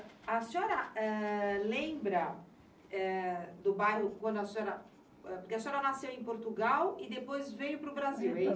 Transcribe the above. A senhora eh lembra eh do bairro quando a senhora... Porque a senhora nasceu em Portugal e depois veio para o Brasil, é isso?